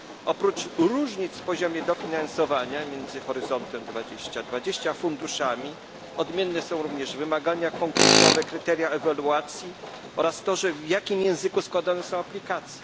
Oprócz różnic w poziomie dofinansowania między Horyzontem 2020 a funduszami odmienne są również wymagania konkursowe, kryteria ewaluacji oraz to, w jakim języku składane są aplikacje.